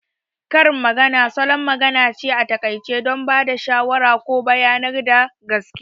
Karin magana salon magana ne a taƙaice don ba da shawara ko bayanar da gaskiya